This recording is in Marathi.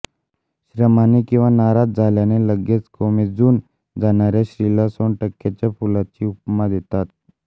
श्रमाने किंवा नाराज झाल्याने लगेच कोमेजून जाणाऱ्या स्त्रीला सोनटक्क्याच्या फुलाची उपमा देतात